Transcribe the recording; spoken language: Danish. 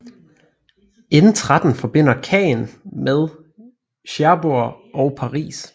N13 forbinder Caen med Cherbourg og Paris